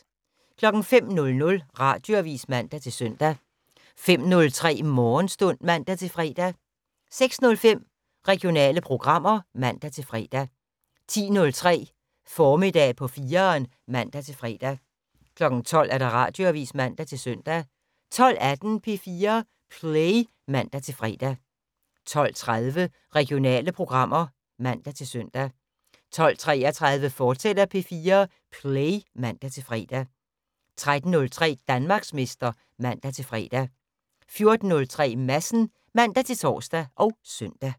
05:00: Radioavis (man-søn) 05:03: Morgenstund (man-fre) 06:05: Regionale programmer (man-fre) 10:03: Formiddag på 4'eren (man-fre) 12:00: Radioavis (man-søn) 12:18: P4 Play (man-fre) 12:30: Regionale programmer (man-søn) 12:33: P4 Play, fortsat (man-fre) 13:03: Danmarksmester (man-fre) 14:03: Madsen (man-tor og søn)